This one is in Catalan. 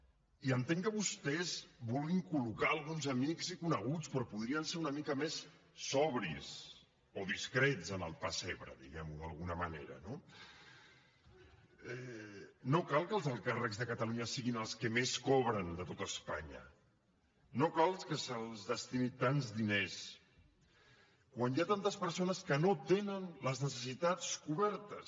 i entenc que vostès vulguin col·locar alguns amics i coneguts però podrien ser una mica més sobris o discrets en el pessebre diguem ho d’alguna manera no no cal que els alts càrrecs de catalunya siguin els que més cobren de tot espanya no cal que se’ls destini tants diners quan hi ha tantes persones que no tenen les necessitats cobertes